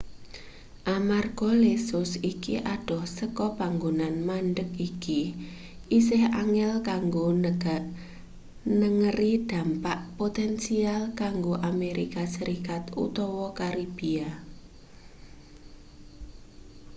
amarga lesus iki adoh saka panggonan mandheg iki isih angel kanggo nengeri dampak potensial kanggo amerika serikat utawa karibia